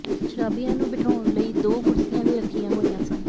ਸ਼ਰਾਬੀਆਂ ਨੂੰ ਬਿਠਾਉਣ ਲਈ ਦੋ ਕੁਰਸੀਆਂ ਵੀ ਰੱਖੀਆਂ ਹੋਈਆਂ ਸਨ